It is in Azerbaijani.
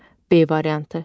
B variantı.